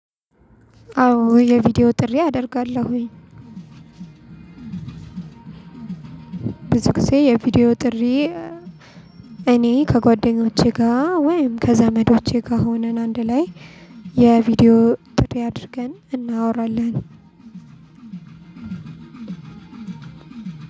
አዎ የቪዲዮ ጥሪ አደርጋለሁኝ። ብዙ ጊዜ የቪዲዮ ጥሪ እኔ ከጓደኞቼ ጋር ወይም ከዘመዶቼ ጋር ሆነን አንድ ላይ የቪዲዮ ጥሪ አድርገን እናወራለን።